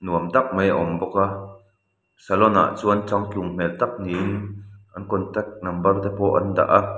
nuam tak mai a awm bawk a salon ah chuan changtlung hmel tak niin an contact number te pawh an dah a.